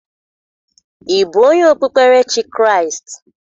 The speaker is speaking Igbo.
Ị bụ onye okpukperechi Kraịst?